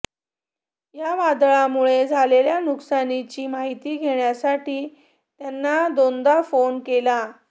या वादळामुळे झालेल्या नुकसानीची माहिती घेण्यासाठी त्यांना दोनदा फोन केला